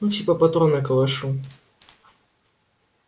ну типа патроны калашу